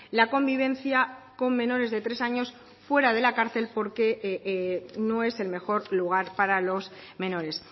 la convivencia con menores de tres años fuera de la cárcel porque no es el mejor lugar para los menores